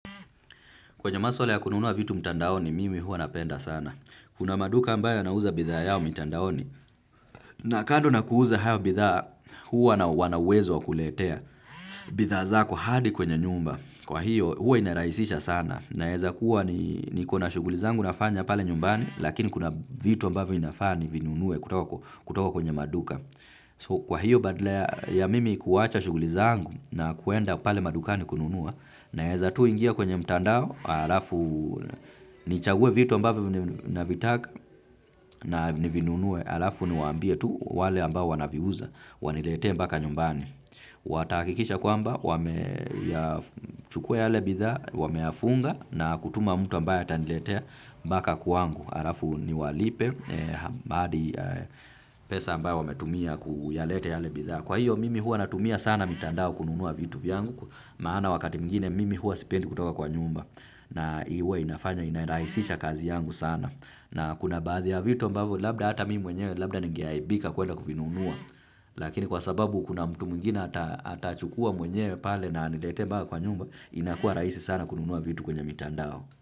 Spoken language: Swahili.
Kwenye maswala ya kununua vitu mtandaoni, mimi huwa napenda sana. Kuna maduka ambayo yanauza bidhaa yao mtandaoni. Na kando na kuuza hayo bidhaa, huwa wanauwezo wa kuletea. Bidhaa zako hadi kwenye nyumba. Kwa hiyo, huwa inarahisisha sana. Naeza kuwa niko na shuguli zangu nafanya pale nyumbani, lakini kuna vitu ambavyo inafaa nivinunue kutoka kwenye maduka. Kwa hiyo, badala ya mimi kuacha shuguli zangu na kuenda pale maduka ni kununua, naeza tu ingia kwenye mtandao, alafu nichague vitu ambavyo na vitaka na nivinunue, alafu niwaambie tu wale ambao wanaviuza, wanilete mbaka nyumbani. Watahakikisha kwamba, chukua yale bidhaa, wameyafunga na kutuma mtu ambaye ataniletea mbaka kwangu, alafu niwalipe adi pesa ambayo wametumia kuyalete yale bidhaa. Kwa hiyo mimi hua natumia sana mitandao kununua vitu vyangu, maana wakati mwingine mimi huwa sipendi kutoka kwa nyumba na uwa inafanya inarahisisha kazi yangu sana. Na kuna baadhi ya vitu ambavyo labda hata mimi mwenyewe labda ningeaibika kuenda kuvinunua, lakini kwa sababu kuna mtu mwingine atachukua mwenyewe pale na anilete mbaka kwa nyumba, inakuwa rahisi sana kununua vitu kwenye mitandao.